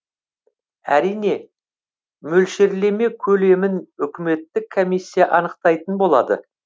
әрине мөлшерлеме көлемін үкіметтік комиссия анықтайтын болады